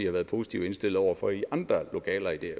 har været positivt indstillet over for i andre lokaler i det